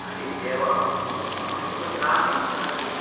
आरे देवा! हांवें तुका त्रास दिवंक ना न्ही?